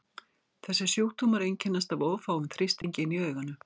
þessir sjúkdómar einkennast af of háum þrýstingi inni í auganu